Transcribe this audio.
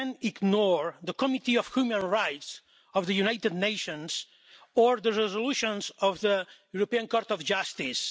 Spain ignore the Committee of Human Rights of the United Nations or the resolutions of the European Court of Justice?